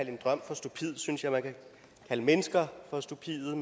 en drøm for stupid synes jeg man kan kalde mennesker for stupide